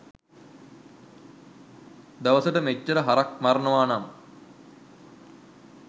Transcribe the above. දවසට මෙච්චර හරක් මරනවනම්